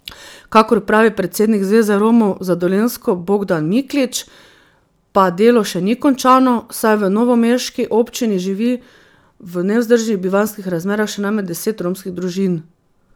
Kakor pravi predsednik Zveze Romov za Dolenjsko Bogdan Miklič, pa delo še ni končano, saj v novomeški občini živi v nevzdržnih bivanjskih razmerah še najmanj deset romskih družin.